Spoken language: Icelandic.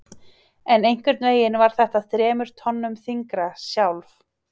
En einhvernveginn var þetta þremur tonnum þyngra- sjálf